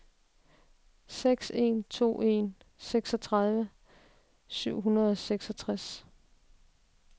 seks en to en seksogtredive syv hundrede og seksogtres